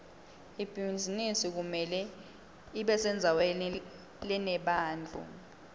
ibhizinisi kumele ibesendzaweni lenebantfu